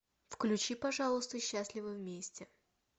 включи пожалуйста счастливы вместе